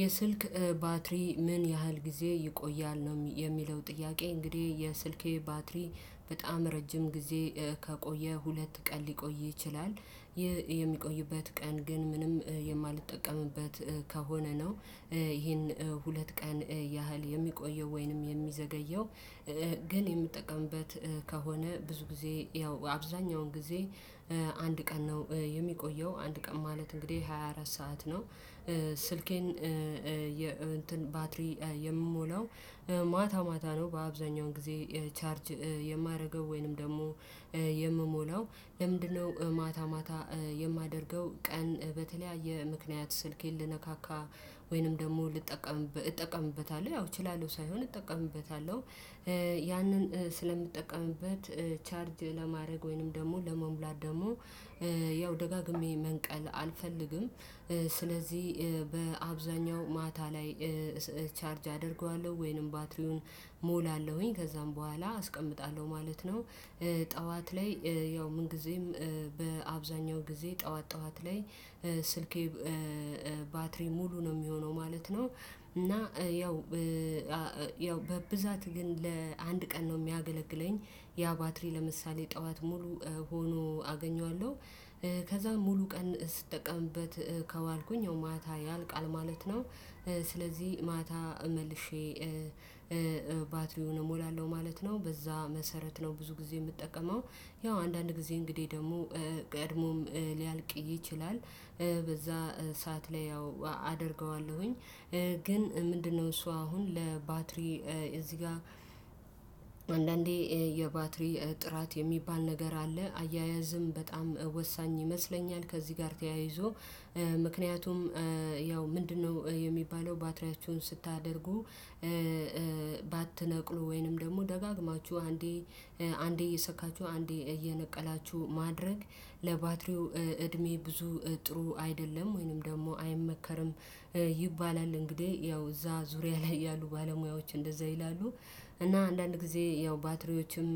የስልክ ባትሪ ምን ያህል ጊዜ ይቆያል ነው የሚለው ጥያቄ እንግዲህ የስልኬ ባትሪ በጣም ረጅም ጊዜ ከቆየ ሁለት ቀን ሊቆይ ይችላል። የሚቆይበት ቀን ግን ምንም የማልጠቀምበት ከሆነ ነው። ይሄን ሁለት ቀን ያህል የሚቆየው ወይንም የሚዘገየው። ግን የምጠቀምበት ከሆነ ብዙ ጊዜ ያው አብዛኛውን ጊዜ አንድ ቀን ነው የሚቆየው አንድ ቀን ማለት እንግዲህ ሃያ አራት ሰዓት ነው። ስልኬን የእንትን ባትሪ የምሞላው ማታ ማታ ነው በአብዛኛው ጊዜ ቻርጅ የማደርገው ወይንም ደግሞ የምሞላው? ለምንድነው ማታ ማታ የማደርገው ቀን በተለያየ ምክንያት ስልኬን ልነካካ ወይንም ደግሞ እጠቀምበታለሁ ያው እችላለሁ ሳይሆን እጠቀምበታለሁ ያንን ስለምጠቀምበት ቻርጅ ለማድረግ ወይንም ደግሞ ለመሙላት ደግሞ ያው ደጋግሜ መንቀል አልፈልግም። ስለዚህ በአብዛኛው ማታ ላይ ቻርጅ አደርገዋለሁ ወይንም ባትሪውን እሞላለሁኝ ከዛም በኋላ አስቀምጣለሁ ነው። ጠዋት ላይ ያው ምን ጊዜም በአብዛኛው ጊዜ ጠዋት ጠዋት ላይ ስልኬ ባትሪ ሙሉ ነው የሚሆነው ማለት ነው። እና ያው ያው በብዛት ግን ለአንድ ቀን ነው የሚያገለግለኝ ያ ባትሪ ለምሳሌ ጠዋት ሙሉ ሆኖ አገኘዋለሁ ከዛ ሙሉ ቀን ስጠቀምበት ከዋልኩኝ ያው ማታ ያልቃል ማለት ነው። ስለዚህ ማታ መልሼ ባትሪውን እሞላለሁ ማለት ነው። በዛ መሰረት ነው ብዙ ጊዜ የምጠቀመው ያው አንዳንድ ጊዜ እንግዲህ ደግሞ ቀድሞም ሊያልቅ ይችላል በዛ ሰዓት ላይ ያው አደርገዋለሁኝ። ግን ምንድነው እሱ አሁን ለባትሪ እዚህ ጋር አንዳንዴ የባትሪ ጥራት የሚባል ነገር አለ አያያዝም በጣም ወሳኝ ይመስለኛል። ከዚህ ጋር ተያይዞ ምክንያቱም ያው ምንድነው የሚባለው ባትሪያችሁን ስታደርጉ ባትነቅሉ ወይንም ደግሞ ደጋግማችሁ አንዴ አንዴ እየሰካችሁ አንዴ እየነቀላችሁ ማድረግ ለባትሪው እድሜ ብዙ ጥሩ አይደለም ወይንም ደግሞ አይመከርም። ይባላል እንግዲህ ያው እዛ ዙሪያ ላይ ያሉ ባለሙያዎች እንደዛ ይላሉ። እና አንዳንድ ጊዜ ያው ባትሪዎችም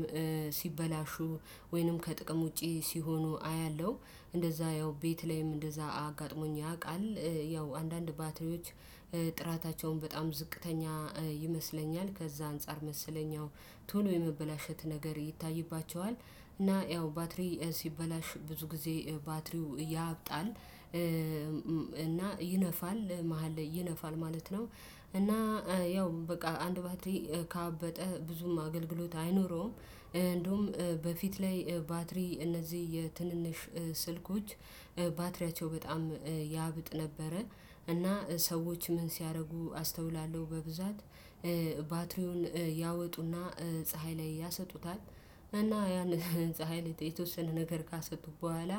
ሲበላሹ ወይንም ከጥቅም ውጪ ሲሆኑ አያለሁ እንደዛ ያው ቤት ላይም እንደዛ አጋጥሞኝ ያውቃል። ያው አንዳንድ ባትሪዎች በጣም ዝቅተኛ ይመስለኛል ከዛ አንፃር መሰለኛ ያው ቶሎ የመበላሸት ነገር ይታይባቸዋል። እና ያው ባትሪ ሲበላሽ ብዙ ጊዜ ባትሪው ያብጣል። እና ይነፋል መሃል ላይ ይነፋል ማለት ነው። እና ያው በቃ አንድ ባትሪ ካበጠ ብዙም አገልግሎት አይኖረውም። እንደውም በፊት ላይ ባትሪ እነዚህ የትንንሽ ስልኮች ባትሪያቸው በጣም ያብጥ ነበረ እና ሰዎች ምን ሲያደርጉ አስተውላለሁ በብዛት ባትሪውን ያወጡና ፀሀይ ላይ ያሰጡታል እና ያን ፀሀይ የተወሰነ ነገር ካሰጡ በኋላ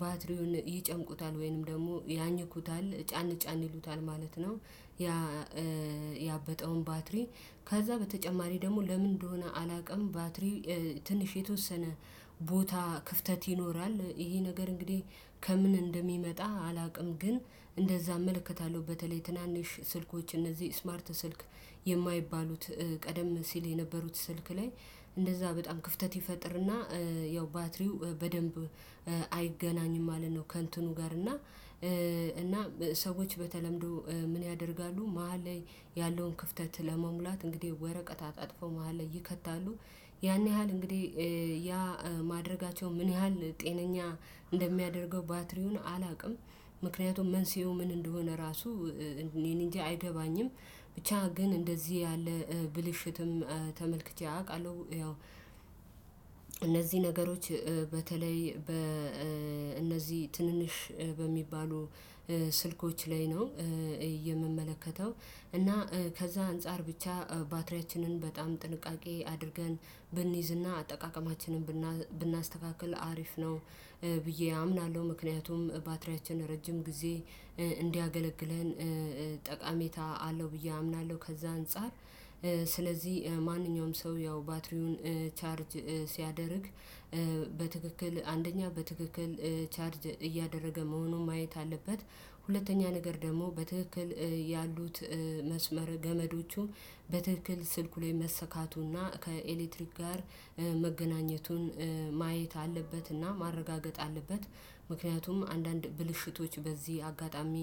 ባትሪውን ይጨምቁታል ወይንም ደግሞ ያኝኩታል ጫን ጫን ይሉታል ማለት ነው። ያ ያበጠውን ባትሪ ከዛ በተጨማሪ ደግሞ ለምን እንደሆነ አላውቅም ባትሪ ትንሽ የተወሰነ ቦታ ክፍተት ይኖራል ይሄ ነገር እንግዲህ ከምን እንደሚመጣ አላውቅም። ግን እንደዛ እመለከታለሁ በተለይ ትናንሽ ስልኮች እነዚህ ስማርት ስልክ የማይባሉት ቀደም ሲል የነበሩት ስልክ ላይ እንደዛ በጣም ክፍተት ይፈጥርና ያው ባትሪው በደንብ አይገናኝም ማለት ነው። ከእንትኑ ጋር እና እና ሰዎች በተለምዶ ምን ያደርጋሉ መሃል ላይ ያለውን ክፍተት ለመሙላት እንግዲህ ወረቀት አጣጥፎ መሃል ላይ ይከታሉ ያን ያህል እንግዲህ ያ ማድረጋቸው ምን ያህል ጤነኛ እንደሚያደርገው ባትሪውን አላውቅም። ምክንያቱም መንስኤው ምን እንደሆነ ራሱ እኔን እንጃ አይገባኝም። ብቻ ግን እንደዚህ ያለ ብልሽትም ተመልክቼ አውቃለሁ። ያው እነዚህ ነገሮች በተለይ እነዚህ ትንንሽ በሚባሉ ስልኮች ላይ ነው። የምመለከተው እና ከዛ አንፃር ብቻ ባትሪያችንን በጣም ጥንቃቄ አድርገን ብንይዝና አጠቃቀማችንን ብናስተካክል አሪፍ ነው ብዬ አምናለሁ። ምክንያቱም ባትሪያችን ረጅም ጊዜ እንዲያገለግለን ጠቃሜታ አለው ብዬ አምናለሁ። ከዛ አንፃር ስለዚህ ማንኛውም ሰው ያው ባትሪውን ቻርጅ ሲያደርግ በትክክል አንደኛ በትክክል ቻርጅ እያደረገ መሆኑን ማየት አለበት። ሁለተኛ ነገር ደግሞ በትክክል ያሉት መስመር ገመዶቹ በትክክል ስልኩ ላይ መሰካቱና ከኤሌክትሪክ ጋር መገናኘቱን ማየት አለበትና ማረጋገጥ አለበት። ምክንያቱም አንዳንድ ብልሽቶች በዚህ አጋጣሚ